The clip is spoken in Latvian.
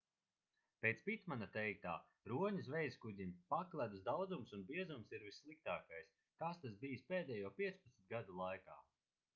pēc pitmana teiktā roņu zvejaskuģiem pakledus daudzums un biezums ir vissliktākais kāds tas bijis pēdējo 15 gadu laikā